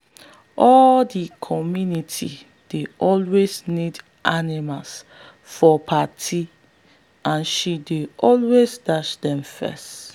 he don become oga for farm animal now as him cows dey build things always like machine.